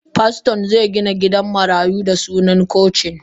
Paston ze Gina gidan marayu da suna cocin.